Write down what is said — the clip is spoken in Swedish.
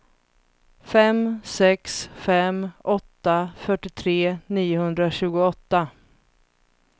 fem sex fem åtta fyrtiotre niohundratjugoåtta